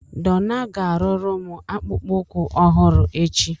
Donna ga-arụrụ m akpụkpọ ụkwụ ọhụrụ echi